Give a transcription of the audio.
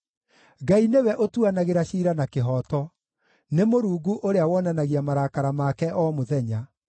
Ngai nĩwe ũtuanagĩra ciira na kĩhooto, nĩ Mũrungu ũrĩa wonanagia marakara make o mũthenya.